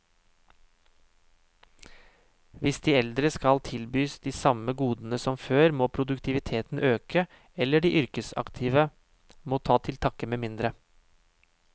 Hvis de eldre skal tilbys de samme godene som før, må produktiviteten øke, eller de yrkesaktive må ta til takke med mindre.